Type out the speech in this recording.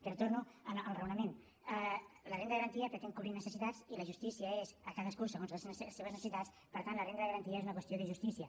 però torno al raonament la renda de garantia pretén cobrir necessitats i la justícia és a cadascú segons les seves necessitats per tant la renda de garantia és una qüestió de justícia